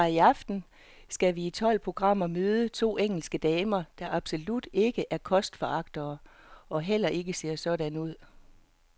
Fra i aften skal vi i tolv programmer møde to engelske damer, der absolut ikke er kostforagtere og heller ikke ser sådan ud.